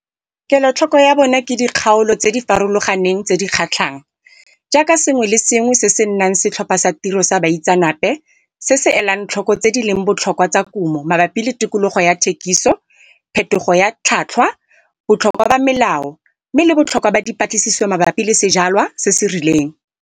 Kelotlhoko ya bona ke dikgaolo tse di farologaneng tse di kgatlhang, jaaka sengwe se sengwe le se sengwe se se nang Setlhopha sa Tiro sa Baitseanape se se elang tlhoko tse di leng botlhokwa tsa kumo mabapi le tikologo ya thekiso, phethogo ya tlhotlhwa, botlhokwa ba melao mme le botlhokwa ba dipatlisiso mabapi le sejalwa se se rileng.